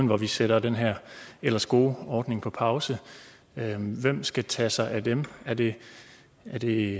hvor vi sætter den her ellers gode ordning på pause hvem skal tage sig af dem er det det